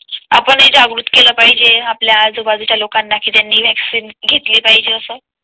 आपण हि जागृत केला पाहिजे आपल्या आजूबाजूच्या लोकांना कि त्यांनी वैक्सीन घेतली पाहिजे असं.